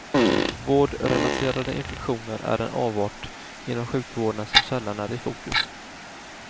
Vårdrelaterade infektioner är en avart inom sjukvården som sällan är i fokus.